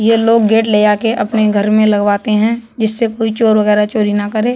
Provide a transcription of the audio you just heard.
ये लोग गेट ले आके अपने घर में लगवाते हैं जिससे कोई चोर वगैरा चोरी ना करें।